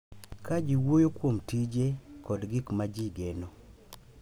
Ka ji wuoyo kuom tije kod gik ma ji geno,